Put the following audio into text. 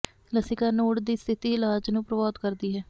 ਲਸਿਕਾ node ਦੀ ਸਥਿਤੀ ਇਲਾਜ ਨੂੰ ਪ੍ਰਭਾਵਤ ਕਰਦੀ ਹੈ